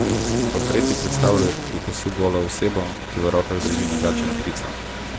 Portreti predstavljajo do pasu golo osebo, ki v rokah drži nagačeno ptico.